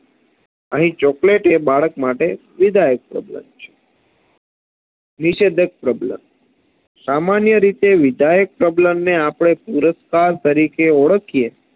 અહીં chocolate એ બાળક માટે વિધાયક પ્રબલન છે નિષેધક પ્રબલન સામાન્ય રીતે વિધાયક પ્રબલનને આપણે પુરસ્કાર તરીકે ઓળખીએ